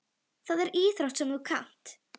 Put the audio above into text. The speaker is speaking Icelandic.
Það er íþrótt sem þú kannt.